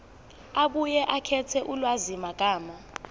abuye akhethe ulwazimagama